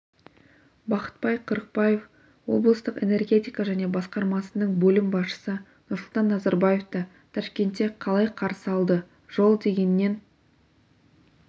бахытбай қырықбаев облыстық энергетика және басқармасының бөлім басшысы нұрсұлтан назарбаевты ташкентте қалай қарсы алды жол дегеннен